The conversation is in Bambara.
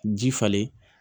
Ji falen